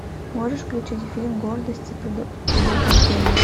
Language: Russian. можешь включить фильм гордость и предубеждение